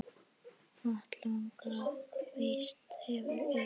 Atlaga hvíts hefur geigað.